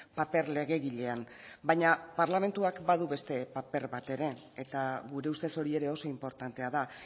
paper legegilean baina parlamentuak badu beste paper bat ere eta gure ustez hori ere oso inportantea da